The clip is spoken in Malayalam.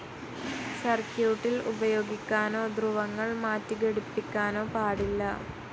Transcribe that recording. സർക്യൂട്ടിൽ ഉപയോഗിക്കാനോ ധ്രുവങ്ങൾ മാറ്റി ഘടിപ്പിക്കാനോ പാടില്ല.